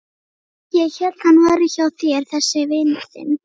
Ég hélt að hann væri hjá þér þessi vinur þinn.